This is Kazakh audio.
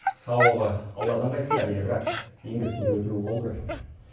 сауабы алладан қайтсын әрине бірақ еңбектің де өтеуі болу керек қой